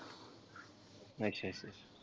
ਅੱਛਾ ਅੱਛਾ।